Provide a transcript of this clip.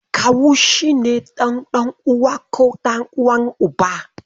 Kawu shi ne ɗan uwan Uwa ko ɗan uwan Uba.